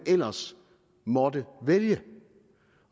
ellers måtte vælges